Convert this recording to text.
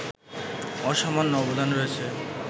অসামান্য অবদান রয়েছে